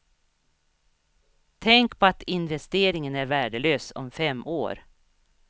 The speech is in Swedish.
Tänk på att investeringen är värdelös om fem år.